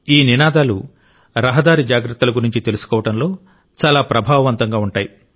ఈ నినాదాలు రహదారి జాగ్రత్తల గురించి తెలుసుకోవడంలో చాలా ప్రభావవంతంగా ఉంటాయి